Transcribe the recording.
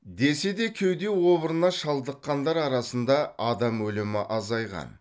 десе де кеуде обырына шалдыққандар арасында адам өлімі азайған